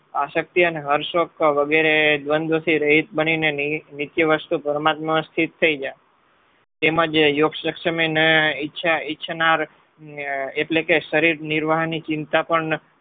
આશક્તિ અને હર્ષશોક વગેરે દ્વંદ્વ થી રહિત બનીને નિત્ય વસ્તુ પરમાત્મા અસ્થિત થઈ જા. તેમજ યોગક્ષક્ષમે ને ઇચ્છનાર એટલે કે શરીર નિર્વાહની ચિંતા પણ